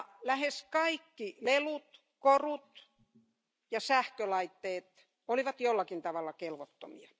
Lähes kaikki lelut, korut ja sähkölaitteet olivat jollain tavalla kelvottomia.